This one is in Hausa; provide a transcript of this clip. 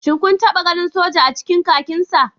Shin kun taba ganin soja a cikin kakinsa?